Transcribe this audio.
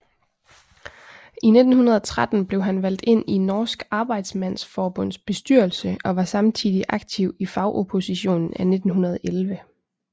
I 1913 blev han valgt ind i Norsk Arbejdsmandsforbunds bestyrelse og var samtidig aktiv i Fagoppositionen af 1911